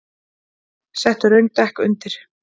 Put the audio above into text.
Settu röng dekk undir